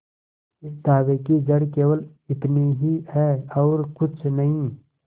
इस दावे की जड़ केवल इतनी ही है और कुछ नहीं